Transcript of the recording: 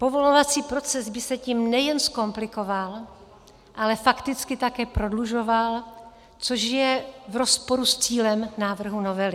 Povolovací proces by se tím nejen zkomplikoval, ale fakticky také prodlužoval, což je v rozporu s cílem návrhu novely.